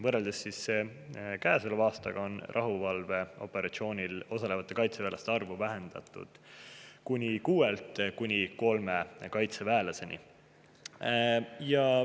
Võrreldes aastaga on rahuvalveoperatsioonil osalevate kaitseväelaste arvu vähendatud kuni kuuelt kuni kolme kaitseväelaseni.